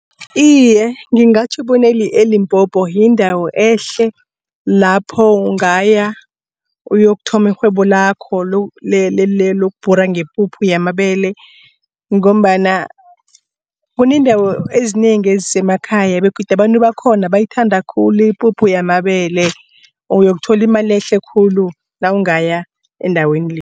Iye, ngingatjho bona e-Limpopo yindawo ehle. Lapho ungaya uyokuthoma irhwebo lakho lokubhura ngepuphu yamabele. Ngombana kuneendawo ezinengi ezisemakhaya begodu abantu bakhona bayithanda khulu ipuphu yamabele uyokuthola imali ehle khulu nawungaya endaweni le.